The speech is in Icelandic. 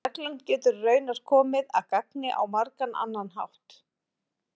en reglan getur raunar komið að gagni á margan annan hátt